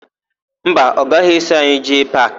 Mba, ọ gaghị eso anyị jee paakị.